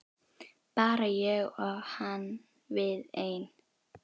Bara ég og hann við ein.